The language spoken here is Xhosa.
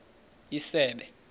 isebe